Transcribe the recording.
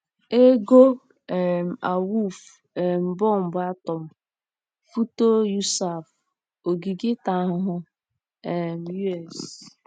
EGO um AWUFU; um bọmbụ atọm: foto USAF; ogige ịta ahụhụ: um U. S.